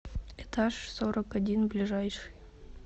этаж сорок один ближайший